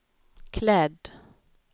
klädd